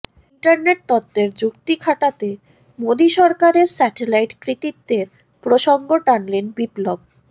internet তত্ত্বের যুক্তি খাটাতে মোদি সরকারের স্যাটেলাইট কৃতিত্বের প্রসঙ্গ টানলেন বিপ্লব